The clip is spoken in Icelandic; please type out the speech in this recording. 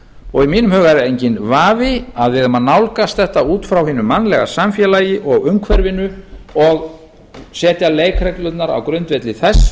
og í mínum huga er enginn vafi að við eigum að nálgast þetta út frá hinu mannlega samfélagi og umhverfinu og setja leikreglurnar á grundvelli þess